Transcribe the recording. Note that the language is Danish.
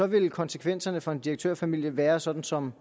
ville konsekvenserne for en direktørfamilie være sådan som